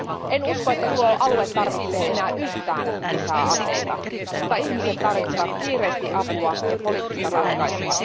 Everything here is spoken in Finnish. En usko, että tuo alue tarvitsee enää yhtään lisää aseita, mutta ihmiset tarvitsevat kiireesti apua ja poliittista ratkaisua.